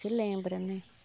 Se lembra, né?